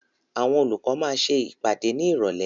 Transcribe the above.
Àwọn olùkọ́ máa ṣe ìpàdé ní Ìrọ̀lẹ́.